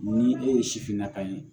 Ni e ye sifinna ka ye